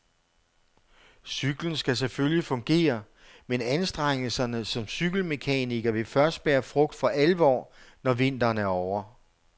Cyklen skal selvfølgelig fungere, men anstrengelserne som cykelmekaniker vil først bære frugt for alvor, når vinteren er ovre.